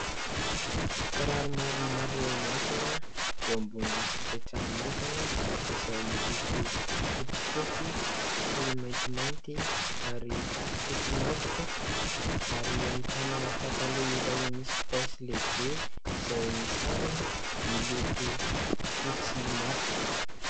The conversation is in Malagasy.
Kiraro maromaro mihantona eo ambonin'ny fipetrahan'ny entana izay miloko fotsifotsy sy maintimainty ary fotsy matroka. Ary ahitana pataloha iray misy paosy lehibe izay misarona miloko fotsy matroka.